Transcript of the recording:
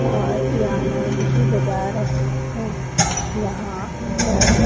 और पियानो भी बजा रहे हैं यहां पर--